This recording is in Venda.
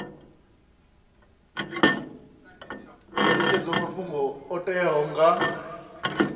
netshedzwa mafhungo o teaho nga